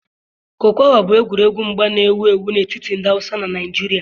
kokowa bụ egwuregwu mgba na-ewu ewu n'etiti ndị Hausa na Naịjirịa.